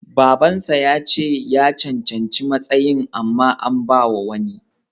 Baban sa yace ya cancanci matsayin amma an bawa wani.